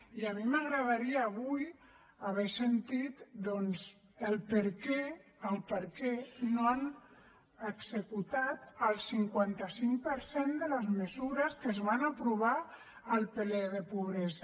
i a mi m’agradaria avui haver sentit doncs per què no han executat el cinquanta cinc per cent de les mesures que es van aprovar al ple de pobresa